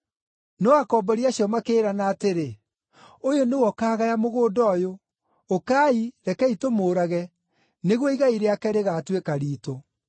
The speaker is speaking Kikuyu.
“No akombori acio makĩĩrana atĩrĩ, ‘Ũyũ nĩwe ũkaagaya mũgũnda ũyũ. Ũkai, rekei tũmũũrage, nĩguo igai rĩake rĩgaatuĩka riitũ.’